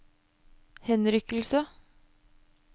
henrykkelse